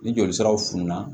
Ni joli siraw fununa